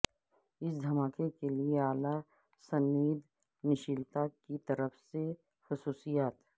اس دھماکے کے لئے اعلی سنویدنشیلتا کی طرف سے خصوصیات